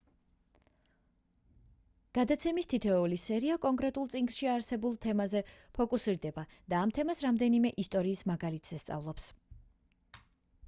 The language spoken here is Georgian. გადაცემის თითოეული სერია კონკრეტულ წიგნში არსებულ თემაზე ფოკუსირდება და ამ თემას რამდენიმე ისტორიის მაგალითზე სწავლობს